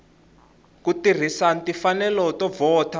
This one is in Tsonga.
ku tirhisa timfanelo to vhota